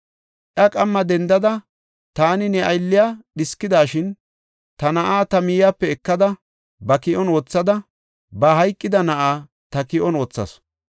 Iya qamma dendada, taani, ne aylliya dhiskidashin, ta na7aa ta miyepe ekada, ba ki7on wothada, ba hayqida na7aa ta ki7on wothasu.